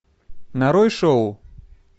нарой шоу